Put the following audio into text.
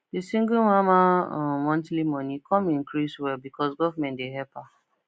the single mama um monthly money come increase well because government dey help her